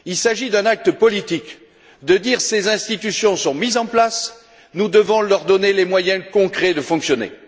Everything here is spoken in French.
Il s'agit d'un acte politique, consistant à dire ces institutions sont mises en place, nous devons leur donner les moyens concrets de fonctionner.